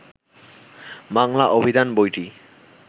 বাংলা অভিধান বইটি